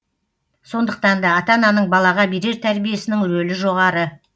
сондықтан да ата ананың балаға берер тәрбиесінің рөлі жоғары